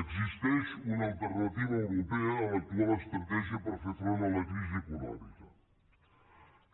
existeix una alternativa europea a l’actual estratègia per fer front a la crisi econòmica